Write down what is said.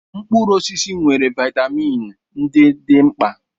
Mkpụrụ osisi nwere vitamin ndị dị mkpa.